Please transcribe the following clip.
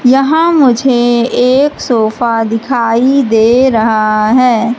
यहां मुझे एक सोफा दिखाई दे रहा है।